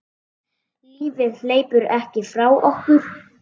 Lífið hleypur ekki frá okkur.